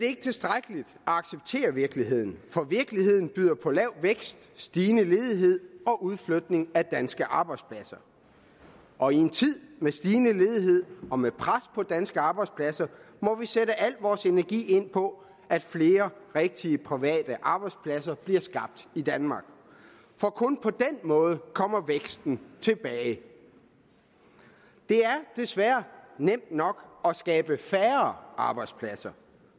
ikke tilstrækkeligt at acceptere virkeligheden for virkeligheden byder på lav vækst stigende ledighed og udflytning af danske arbejdspladser og i en tid med stigende ledighed og med pres på danske arbejdspladser må vi sætte al vores energi ind på at flere rigtige private arbejdspladser bliver skabt i danmark for kun på den måde kommer væksten tilbage det er desværre nemt nok at skabe færre arbejdspladser